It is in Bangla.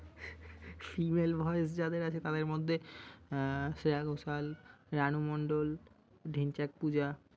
Female voice যাদের আছে তাদের মধ্যে শ্রেয়া ঘোষাল, রানু মণ্ডল, ঢেঞ্চার পূজা।